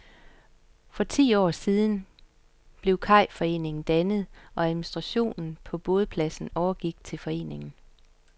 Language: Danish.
For ti år siden blev kajforeningen dannet og administrationen af bådpladserne overgik til foreningen.